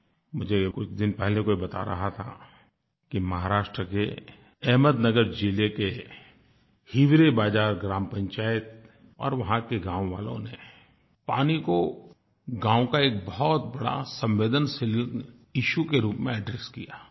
मुझे कुछ दिन पहले कोई बता रहा था कि महाराष्ट्र के अहमदनगर ज़िले के हिवरे बाज़ार ग्राम पंचायत और वहाँ के गाँव वालों ने पानी को गाँव के एक बहुत बड़े संवेदनशील इश्यू के रूप में एड्रेस किया